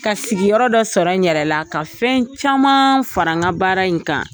Ka sigiyɔrɔ dɔ sɔrɔ n yɛrɛ la ka fɛn caman fara n ka baara in kan.